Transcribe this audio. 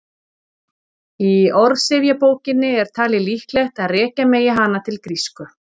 í orðsifjabókinni er talið líklegt að rekja megi hana til grísku